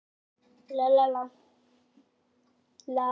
Í fyrsta sinn síðan hann kom fannst honum hann verða að hreyfa andmælum.